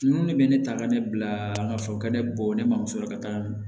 Ninnu de bɛ ne ta ka ne bila ka fɔ ka ne bɔ ne mamuso la ka taa